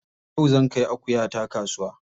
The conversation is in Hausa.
Yau zan kai akuyata kasuwa.